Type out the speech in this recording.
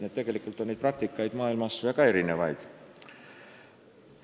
Nii et neid praktikaid on maailmas väga erinevaid.